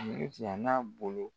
n'a bolo